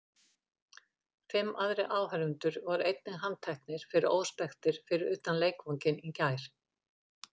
Fimm aðrir áhorfendur voru einnig handteknir fyrir óspektir fyrir utan leikvanginn í gær.